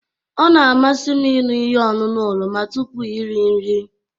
Ọ na-amasị m ịṅụ ihe ọṅụṅụ oroma tupu iri nri